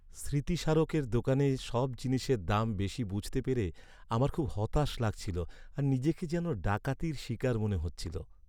স্মৃতিস্মারকের দোকানে সব জিনিসের দাম বেশি বুঝতে পেরে আমার খুব হতাশ লাগছিল আর নিজেকে যেন ডাকাতির শিকার মনে হচ্ছিল।